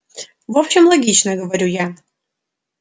в общем логично говорю я